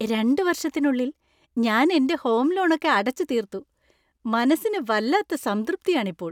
രണ്ട് വർഷത്തിനുള്ളിൽ ഞാൻ എൻ്റെ ഹോം ലോണൊക്കെ അടച്ചുതീർത്തു. മനസ്സിന് വല്ലാത്ത സംതൃപ്തി ആണ് ഇപ്പോൾ.